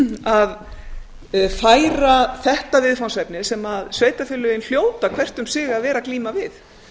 að færa þetta viðfangsefni sem sveitarfélögin hljóta hvert um sig að vera að glíma við